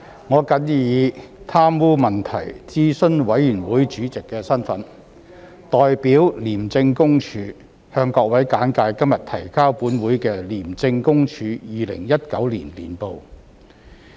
我謹以貪污問題諮詢委員會主席身份，代表廉政公署，向各位簡介今日提交本會的廉政公署2019年報。